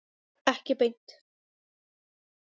Ekki beint